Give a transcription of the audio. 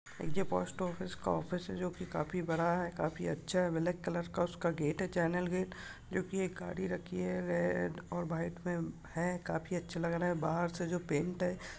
ये post office का office हैं जो की काफी बड़ा है काफी अच्छा हैं ब्लैक कलर का उसका गेट हैं चैनल गेट जो की एक गाड़ी रखी हैं रेड और वाइट मे हैं काफी अच्छा लग रहा हैं बाहर से जो पेंट हैं।